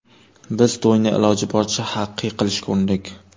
Biz to‘yni iloji boricha haqiqiy qilishga urindik.